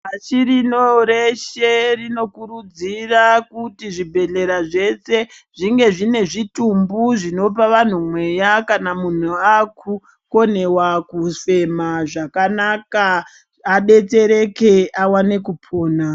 Pashi rino reshe rinokurudzira kuti zvibhedhlera zveshe zvinge zvine zvitumbu zvinopa vanhu mweya kana akukonewa kufema zvakanaka adetsereke awane kupona.